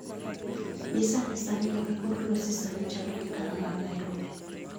Nyisa ane kaka kor lwasi sani chalo e dala mar Nairobi